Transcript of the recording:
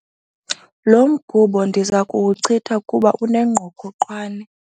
Lo mgubo ndiza kuwuchitha kuba unengqokoqwane.